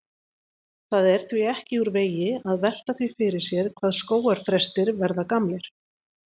Það er því ekki úr vegi að velta því fyrir sér hvað skógarþrestir verða gamlir.